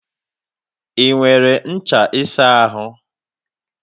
I nwere ncha isa ahu?